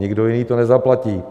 Nikdo jiný to nezaplatí.